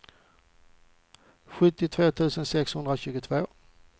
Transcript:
sjuttiotvå tusen sexhundratjugotvå